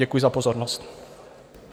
Děkuji za pozornost.